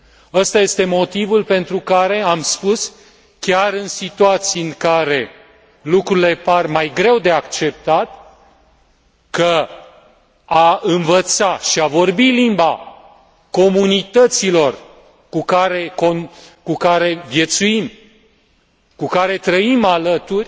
Acesta este motivul pentru care, am spus, chiar în situații în care lucrurile par mai greu de acceptat, că a învăța și a vorbi limba comunităților cu care viețuim, cu care trăim alături,